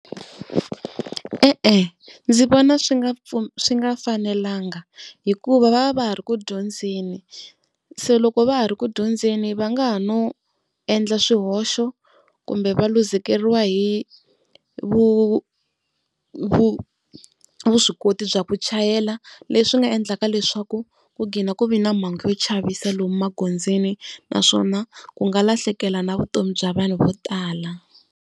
E-e ndzi vona swi nga swi nga fanelanga hikuva va va va ha ri ku dyondzeni se loko va ha ri ku dyondzeni va nga ha no endla swihoxo kumbe va luzekeriwa hi vuswikoti bya ku chayela leswi nga endlaka leswaku ku gina ku vi na mhangu yo chavisa lomu magondzweni naswona ku nga lahlekela na vutomi bya vanhu vo tala.